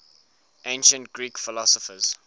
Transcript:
ancient greek philosophers